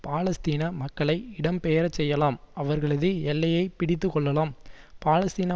பாலஸ்தீன மக்களை இடம் பெயரச்செய்யலாம் அவர்களது எல்லையை பிடித்துக்கொள்ளலாம் பாலஸ்தீன